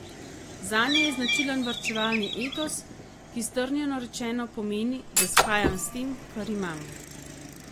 Zanje je značilen varčevalni etos, ki, strnjeno rečeno, pomeni, da shajam s tem, kar imam.